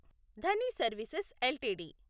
Dhani services LTD